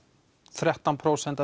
þrettán prósent